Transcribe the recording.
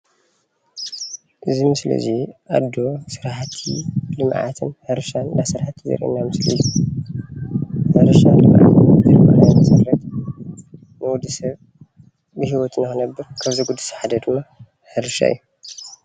ኤዚ ምስሊ እዙይ ኣዶ ሰራሕቲ ልምዓት እንሰርሐት ዘርእየና ምስሊ እዩ።